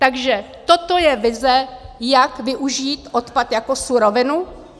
Takže toto je vize, jak využít odpad jako surovinu?